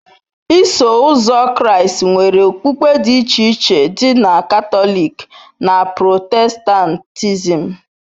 Iso Ụzọ Kraịst nwere okpukpe dị iche iche dị ka Katọlik na Protestantism.